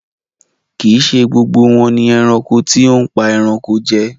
Kí ì ṣe gbogbo wọn ni ẹranko tí óhún pa ẹranko jẹ.